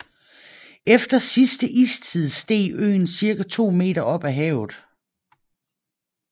Efter sidste istid steg øen ca 2 m op af havet